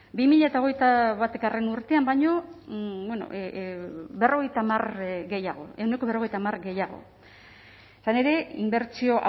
bi mila hogeita batgarrena urtean baino ehuneko berrogeita hamar gehiago izan ere inbertsio